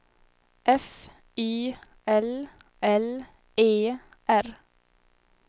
F Y L L E R